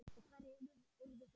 Og hverjir urðu svona reiðir?